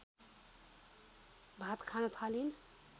भात खान थालिन्